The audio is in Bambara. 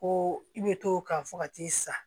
Ko i bɛ t'o kan fo ka t'i sa